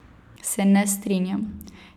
Se ne strinjam.